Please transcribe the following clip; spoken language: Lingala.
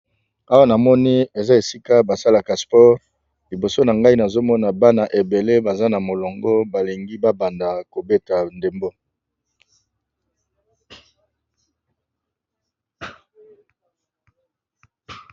awa na moni eza esika basalaka spore liboso na ngai nazomona bana ebele baza na molongo balingi babanda kobeta ndembo